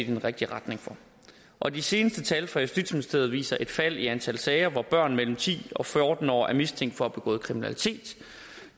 i den rigtige retning for og de seneste tal fra justitsministeriet viser et fald i antallet af sager hvor børn mellem ti og fjorten år er mistænkt for at have begået kriminalitet